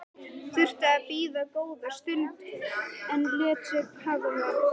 Þurfti að bíða góða stund en lét sig hafa það.